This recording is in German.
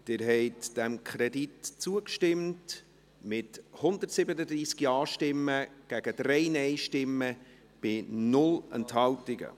Sie haben diesem Kredit zugestimmt, mit 137 Ja- gegen 3 Nein-Stimmen bei 0 Enthaltungen.